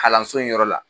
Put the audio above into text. Kalanso in yɔrɔ la